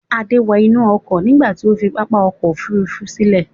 Adé wọ inú ọkọ̀ nígbà tí ó fi pápá ọkọ̀-òfurufú sílẹ̀.